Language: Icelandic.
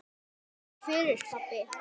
Takk fyrir pabbi.